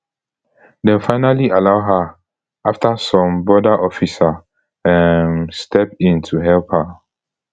dem finally allow her afta some border officer um step in to help her